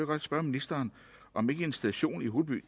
godt spørge ministeren om ikke en station i holeby